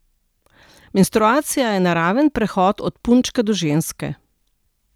Menstruacija je naraven prehod od punčke do ženske.